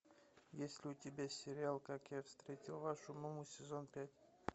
есть ли у тебя сериал как я встретил вашу маму сезон пять